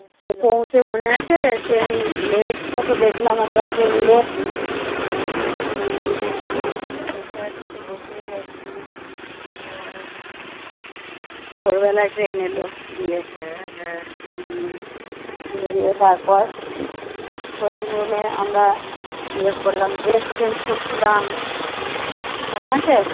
ভোরবেলায় ট্রেন এল দিয়ে। হম হম দিয়ে তারপর waiting room এ আমরা ইয়ে করলাম। dress change করছিলাম। মনে আছে?